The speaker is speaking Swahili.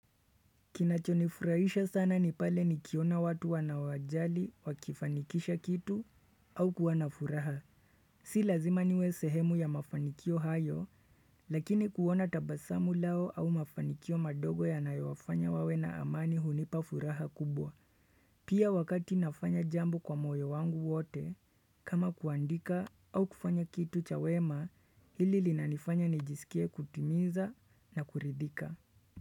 Kinachonifurahisha sana ni pale nikiona watu wanawajali wakifanikisha kitu au kuwa na furaha. Si lazima niwe sehemu ya mafanikio hayo, lakini kuona tabasamu lao au mafanikio madogo yanayowafanya wawe na amani hunipa furaha kubwa. Pia wakati nafanya jambo kwa moyo wangu wote, kama kuandika au kufanya kitu chawema, ili lina nifanya nijisikie kutimiza na kuridhika.